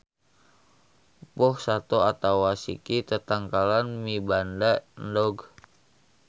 Boh sato atawa siki tatangkalan mibanda endog.